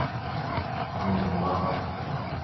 нурлат